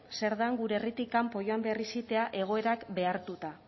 zer dan gure herritik kanpo joan behar izitea egoerak behartuta